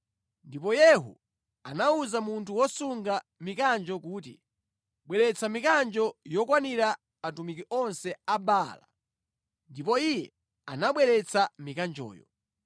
Ndipo Yehu anawuza munthu wosunga mikanjo kuti, “Bweretsa mikanjo yokwanira atumiki onse a Baala.” Ndipo iye anabweretsa mikanjoyo.